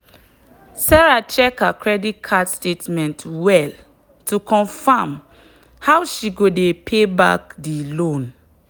sarah check her credit card statement well to confirm how she go dey pay back the loan.